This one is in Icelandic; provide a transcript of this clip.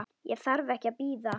Ég þarf ekki að bíða.